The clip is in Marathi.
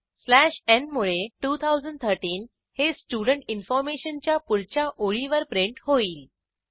स्लॅश न् मुळे 2013 हे स्टुडेंट इन्फॉर्मेशन च्या पुढच्या ओळीवर प्रिंट होईल